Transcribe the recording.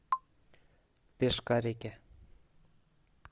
пешкарики